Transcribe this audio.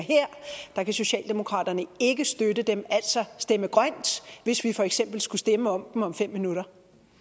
her kan socialdemokratiet ikke støtte dem altså stemme grønt hvis vi for eksempel skulle stemme om dem om fem minutter